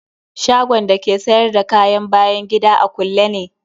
Shagon da ke sayar da kayan bayan gida a kulle ne.